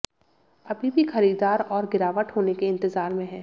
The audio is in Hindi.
अभी भी खरीदार और गिरावट होने के इंतजार में हैं